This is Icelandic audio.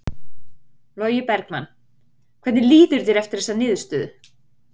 Logi Bergmann: Hvernig líður þér eftir þessa niðurstöðu?